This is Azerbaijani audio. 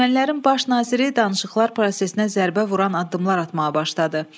Ermənilərin baş naziri danışıqlar prosesinə zərbə vuran addımlar atmağa başladı.